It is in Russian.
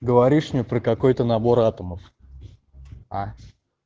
говоришь мне про какой-то набор атомов а